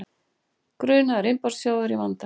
Grunaður innbrotsþjófur í vanda